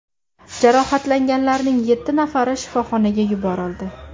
Jarohatlanganlarning yetti nafari shifoxonaga yuborildi.